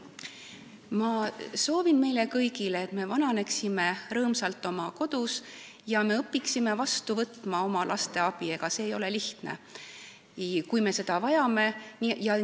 Ma soovin meile kõigile, et me vananeksime rõõmsalt oma kodus ja õpiksime vastu võtma oma laste abi, kui me seda vajame, sest ega see ei ole lihtne.